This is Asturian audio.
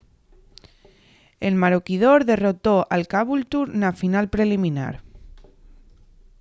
el maroochydore derrotó al caboolture na final preliminar